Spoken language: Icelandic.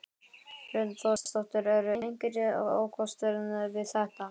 Hrund Þórsdóttir: Eru einhverjir ókostir við þetta?